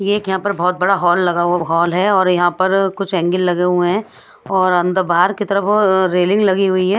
ये एक यहां पर बहोत बड़ा हॉल लगा हुआ हॉल है और यहां पर कुछ एंगील लगे हुए हैं और अंदर बाहर की तरफ रेलिंग लगी हुई है।